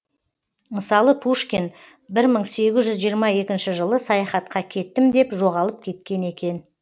мысалы пушкин бір мың сегіз жүз жиырма екінші жылы саяхатқа кеттім деп жоғалып кеткен екен